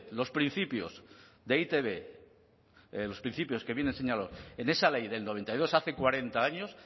los principios de e i te be los principios que vienen señalados en esa ley del noventa y dos hace cuarenta años